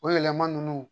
O yɛlɛma ninnu